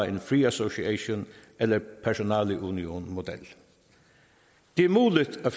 en free association eller personaleunionmodel det er muligt at